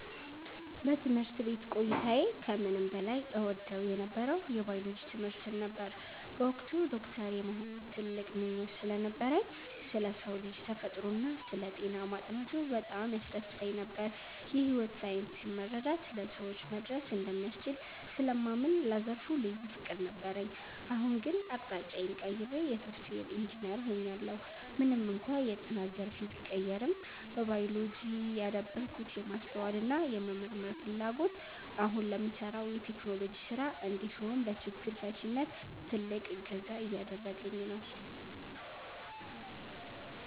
በትምህርት ቤት ቆይታዬ ከምንም በላይ እወደው የነበረው የባዮሎጂ ትምህርትን ነበር። በወቅቱ ዶክተር የመሆን ትልቅ ምኞት ስለነበረኝ፣ ስለ ሰው ልጅ ተፈጥሮና ስለ ጤና ማጥናቱ በጣም ያስደስተኝ ነበር። የሕይወት ሳይንስን መረዳት ለሰዎች መድረስ እንደሚያስችል ስለማምን ለዘርፉ ልዩ ፍቅር ነበረኝ። አሁን ግን አቅጣጫዬን ቀይሬ የሶፍትዌር ኢንጂነር ሆኛለሁ። ምንም እንኳን የጥናት ዘርፌ ቢቀየርም፣ በባዮሎጂ ያዳበርኩት የማስተዋልና የመመርመር ፍላጎት አሁን ለምሠራው የቴክኖሎጂ ሥራ እንዲሁም ለችግር ፈቺነት ትልቅ እገዛ እያደረገኝ ነው።